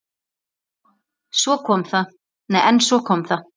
En svo kom það.